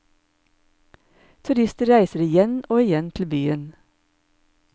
Turister reiser igjen og igjen til byen.